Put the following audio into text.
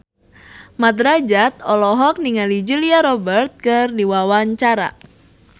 Mat Drajat olohok ningali Julia Robert keur diwawancara